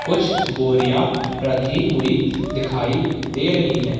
कुछ बोरिया रखी हुई दिखाई दे रही है।